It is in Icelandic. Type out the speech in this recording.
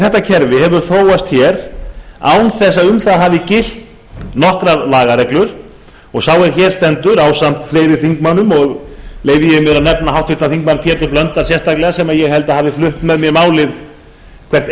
þetta kerfi hefur þróast hér án þess að um það hafi gilt nokkrar lagareglur og sá er hér stendur ásamt fleiri þingmönnum og leyfi ég mér að nefna háttvirtur þingmaður pétur blöndal sérstaklega sem ég held að hafi flutt með mér málið hvert